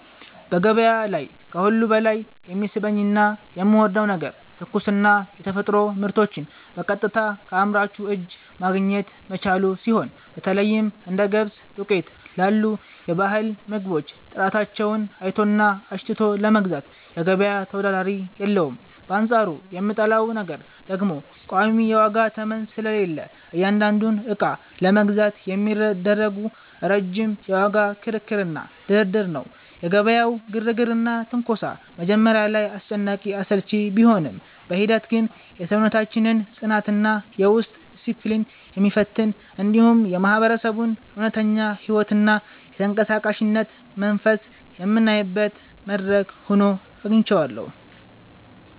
በገበያ ላይ ከሁሉ በላይ የሚስበኝና የምወደው ነገር ትኩስና የተፈጥሮ ምርቶችን በቀጥታ ከአምራቹ እጅ ማግኘት መቻሉ ሲሆን፣ በተለይም እንደ ገብስ ዱቄት ላሉ የባህል ምግቦች ጥራታቸውን አይቶና አሽትቶ ለመግዛት ገበያ ተወዳዳሪ የለውም፤ በአንጻሩ የምጠላው ነገር ደግሞ ቋሚ የዋጋ ተመን ስለሌለ እያንዳንዱን ዕቃ ለመግዛት የሚደረገው ረጅም የዋጋ ክርክርና ድርድር ነው። የገበያው ግርግርና ትንኮሳ መጀመሪያ ላይ አስጨናቂና አሰልቺ ቢሆንም፣ በሂደት ግን የሰውነታችንን ጽናትና የውስጥ ዲስፕሊን የሚፈትን፣ እንዲሁም የማህበረሰቡን እውነተኛ ሕይወትና የተንቀሳቃሽነት መንፈስ የምናይበት መድረክ ሆኖ አግኝቼዋለሁ።